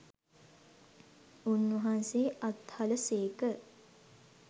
උන්වහන්සේ අත්හළ සේක.